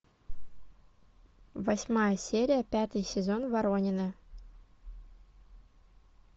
восьмая серия пятый сезон воронины